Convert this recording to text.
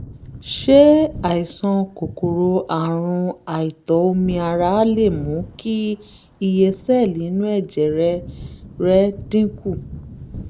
ṣé àìsàn kòkòrò àrùn àìtó omi ara lè mú kí iye sẹ́ẹ̀lì inú ẹ̀jẹ̀ rẹ rẹ dínkù?